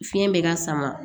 Fiɲɛ bɛ ka sama